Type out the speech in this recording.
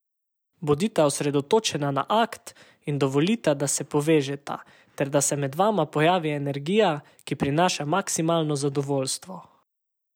Bodita osredotočena na akt in dovolita, da se povežeta ter da se med vama pojavi energija, ki prinaša maksimalno zadovoljstvo.